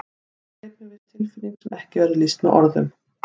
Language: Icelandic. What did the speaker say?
Það greip mig viss tilfinning sem ekki verður lýst með orðum.